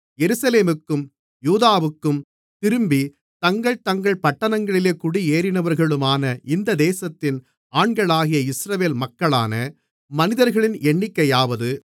எருசலேமுக்கும் யூதாவுக்கும் திரும்பித் தங்கள் தங்கள் பட்டணங்களிலே குடியேறினவர்களுமான இந்த தேசத்தின் ஆண்களாகிய இஸ்ரவேல் மக்களான மனிதர்களின் எண்ணிக்கையாவது